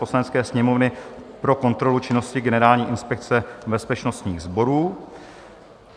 Poslanecké sněmovny pro kontrolu činnosti Generální inspekce bezpečnostních sborů